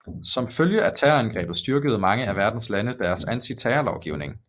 Som følge af terrorangrebet styrkede mange af verdens lande deres antiterrorlovgivning